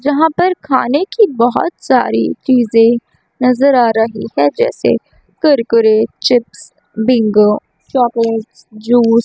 यहां पर खान की बहोत सारी चीजें नजर आ रही है जैसे Kurkure chips Bingo chocolate juice.